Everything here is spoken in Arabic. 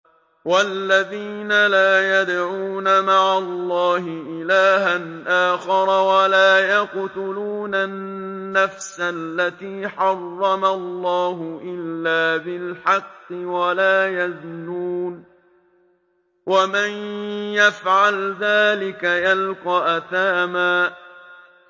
وَالَّذِينَ لَا يَدْعُونَ مَعَ اللَّهِ إِلَٰهًا آخَرَ وَلَا يَقْتُلُونَ النَّفْسَ الَّتِي حَرَّمَ اللَّهُ إِلَّا بِالْحَقِّ وَلَا يَزْنُونَ ۚ وَمَن يَفْعَلْ ذَٰلِكَ يَلْقَ أَثَامًا